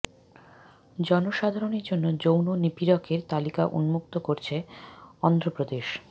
জনসাধারণের জন্য যৌন নিপীড়কের তালিকা উন্মুক্ত করছে অন্ধ্র প্রদেশ